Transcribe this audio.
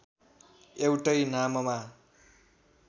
एउटै नाममा